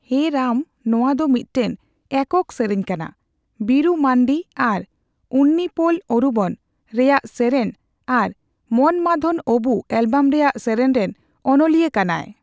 ᱦᱮ ᱨᱟᱢ' ᱱᱚᱣᱟ ᱫᱚ ᱢᱤᱫᱴᱟᱝ ᱮᱠᱚᱠ ᱥᱮᱨᱮᱧ ᱠᱟᱱᱟ 'ᱵᱤᱨᱩᱢᱟᱱᱰᱤ' ᱟᱨ 'ᱩᱱᱱᱤᱯᱳᱞ ᱚᱨᱩᱵᱚᱱ' ᱨᱮᱭᱟᱜ ᱥᱮᱨᱮᱧ ᱟᱨ 'ᱢᱚᱱᱢᱟᱫᱷᱚᱱ ᱚᱸᱵᱩ' ᱮᱞᱵᱚᱢ ᱨᱮᱭᱟᱜ ᱥᱮᱨᱮᱧᱨᱮᱱ ᱚᱱᱚᱞᱤᱭᱟᱹ ᱠᱟᱱᱟᱭ ᱾